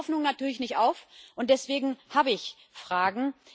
Aber ich gebe die Hoffnung natürlich nicht auf, und deswegen habe ich Fragen.